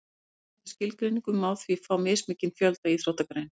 með mismunandi skilgreiningum má því fá mismikinn fjölda íþróttagreina